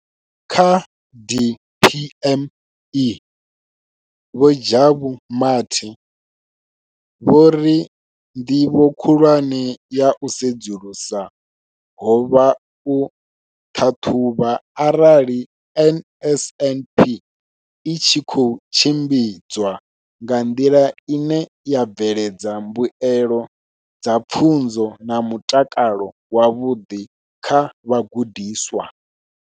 Kha DPME, Vho Jabu Mathe, vho ri ndivho khulwane ya u sedzulusa ho vha u ṱhaṱhuvha arali NSNP i tshi khou tshimbidzwa nga nḓila ine ya bveledza mbuelo dza pfunzo na mutakalo wavhuḓi kha vhagudiswa.